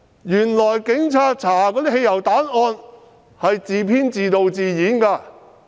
原來警察調查的汽油彈案件是自編、自導、自演的。